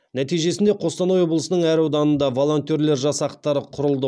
нәтижесінде қостанай облысының әр ауданында волонтерлер жастақтары құрылды